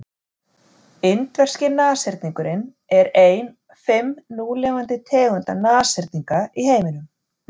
indverski nashyrningurinn er ein fimm núlifandi tegunda nashyrninga í heiminum